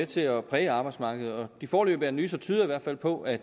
til at præge arbejdsmarkedet de foreløbige analyser tyder i hvert fald på at